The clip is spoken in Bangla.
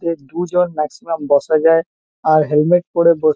এ দুজন ম্যাক্সিমাম বসা যায়। আর হেলমেট পরে বস--